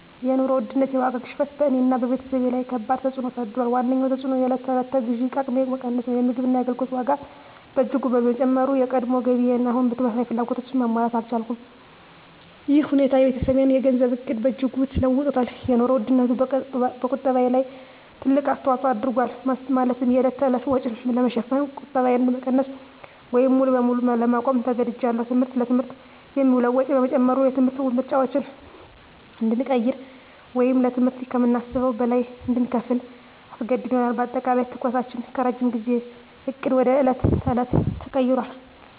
የኑሮ ውድነት (የዋጋ ግሽበት) በእኔና በቤተሰቤ ላይ ከባድ ተፅዕኖ አሳድሯል። ዋነኛው ተፅዕኖ የዕለት ተዕለት የግዢ አቅሜ መቀነስ ነው። የምግብና የአገልግሎት ዋጋ በእጅጉ በመጨመሩ፣ የቀድሞ ገቢዬ አሁን ተመሳሳይ ፍላጎቶችን ማሟላት አልቻለም። ይህ ሁኔታ የቤተሰቤን የገንዘብ ዕቅድ በእጅጉ ለውጦታል - የኑሮ ውድነቱ በቁጠባዬ ላይ ትልቅ አስተዋጽኦ አድርጓል፤ ማለትም የዕለት ተዕለት ወጪን ለመሸፈን ቁጠባዬን ለመቀነስ ወይም ሙሉ በሙሉ ለማቆም ተገድጃለሁ። ትምህርት: ለትምህርት የሚውለው ወጪ በመጨመሩ፣ የትምህርት ምርጫዎችን እንድንቀይር ወይም ለትምህርት ከምናስበው በላይ እንድንከፍል አስገድዶናል። በአጠቃላይ፣ ትኩረታችን ከረጅም ጊዜ ዕቅድ ወደ የዕለት ተዕለት ተቀይሯል።